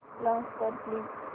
launch कर please